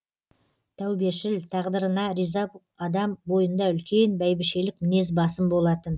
тәубешіл тағдырына риза адам бойында үлкен бәйбішелік мінез басым болатын